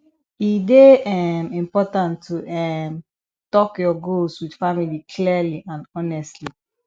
e dey um important to um talk your goals with family clearly and honestly